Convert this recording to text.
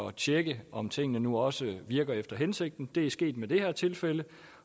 at tjekke om tingene nu også virker efter hensigten det er sket i det her tilfælde